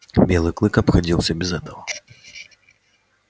белый клык обходился без этого